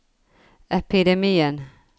epidemien